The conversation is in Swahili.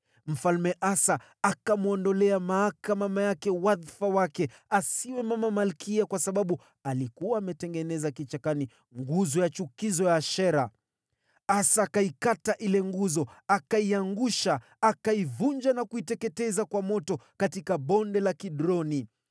Mfalme Asa akamwondolea Maaka mama yake wadhifa wake kama mama malkia kwa sababu alikuwa ametengeneza nguzo ya Ashera ya kuchukiza. Asa akaikata hiyo nguzo, akaivunjavunja na kuiteketeza kwa moto katika Bonde la Kidroni.